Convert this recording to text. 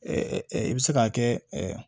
i bɛ se k'a kɛ